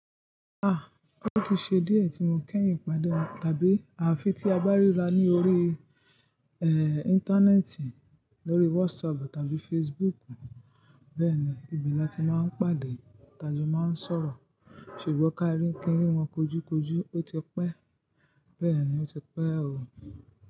Ah! Ó ti ṣe díẹ̀ tí mo keyin pàdé won tàbí àfi tí a bá ríra ní orí, eh, Íńtánẹ́ẹ̀tì, lórí WhatsApp tàbí Facebook. Bẹ́ẹ̀ni, ibe la a ti máa ń pàdé, ta jo máa ń sọ̀rọ̀. Ṣùgbọ́n ká kíńri wọn kojúkojú ó ti pẹ́. Bẹ́ẹ̀ ni, ó ti pẹ́ o.